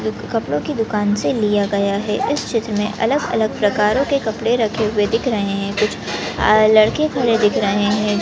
चित्र कपड़ो के दुकान से लिया गया है इस चित्र मे अलग अलग प्रकारों के कपडे रखे दिख रहे है कुछ आ लडके खड़े दिख रहे है।